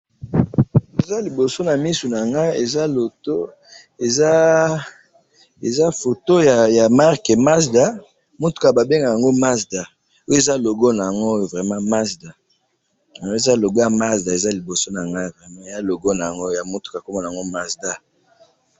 ezaliboso namisu nanga eza photo ya marke mazda mutka babengakayango mazda oyo eza logo yango vrement mazda eeh eza logo mutka babengakayango mazda